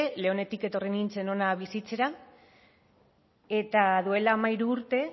leonetik etorri nintzen ona bizitzera eta duela hamairu urte